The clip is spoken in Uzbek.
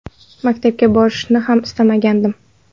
Maktabga borishni ham istamadim.